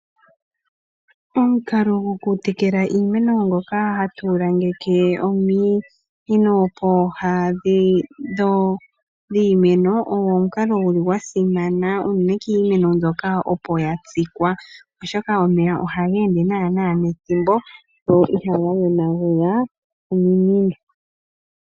Omukalo gokutekela iimeno ngoka hatu langeke ominino pooha dhiimeno ogwo omukalo guli gwa simana unene kiimeno mbyoka opo ya tsikwa, oshoka omeya ohaga ende naana nethimbo go ihaga yonagula iimeno.